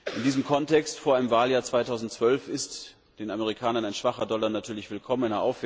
In diesem Kontext vor einem Wahljahr 2012 ist den Amerikanern ein schwacher Dollar natürlich willkommen.